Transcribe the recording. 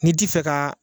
N'i ti fɛ ka